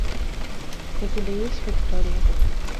у тебя есть виктория